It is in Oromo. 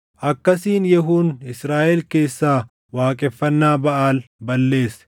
Akkasiin Yehuun Israaʼel keessaa waaqeffannaa Baʼaal balleesse.